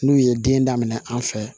N'u ye den daminɛ an fɛ